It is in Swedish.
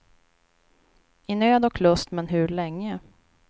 I nöd och lust men hur länge.